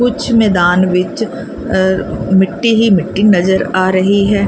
ਕੁੱਛ ਮੈਦਾਨ ਵਿੱਚ ਮਿੱਟੀ ਹੀ ਮਿੱਟੀ ਨਜ਼ਰ ਆ ਰਹੀ ਹੈ।